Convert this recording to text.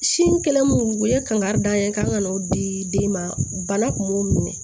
Sin kɛlen mun u ye kankari da an ye k'an ka n'o di den ma bana kun m'u minɛ